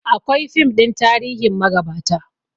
Akwai fim ɗin tarihin magabata